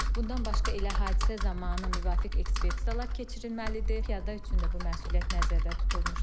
Bundan başqa elə hadisə zamanı müvafiq ekspertizalar keçirilməlidir, piyada üçün də bu məsuliyyət nəzərdə tutulmuşdur.